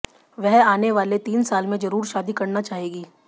वह आने वाले तीन साल में जरूर शादी करना चाहेंगी